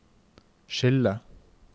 skille